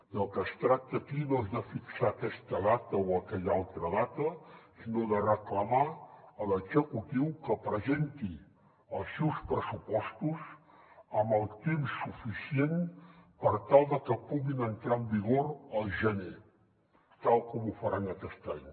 del que es tracta aquí no és de fixar aquesta data o aquella altra data sinó de reclamar a l’executiu que presenti els seus pressupostos amb el temps suficient per tal de que puguin entrar en vigor al gener tal com ho faran aquest any